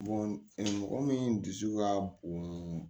mɔgɔ min dusu ka bon